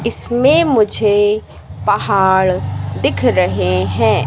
इसमें मुझे पहाड़ दिख रहे हैं।